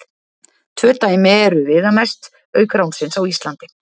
Tvö dæmi eru viðamest, auk ránsins á Íslandi.